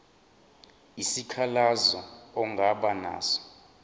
isikhalazo ongaba naso